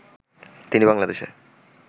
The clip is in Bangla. তিনি বাংলাদেশে